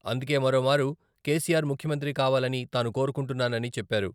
అందుకే మరోమారు కెసిఆర్ ముఖ్యమంత్రి కావాలని తాను కోరుకుంటున్నానని చెప్పారు.